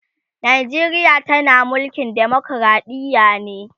Najeriya tana mulkin demokradiya ne